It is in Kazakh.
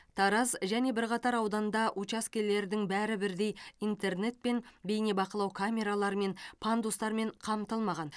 тараз және бірқатар ауданда учаскелердің бәрі бірдей интернетпен бейнебақылау камераларымен пандустармен қамтылмаған